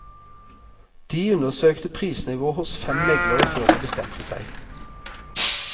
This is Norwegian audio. De undersøkte prisnivået hos fem meglere før de bestemte seg.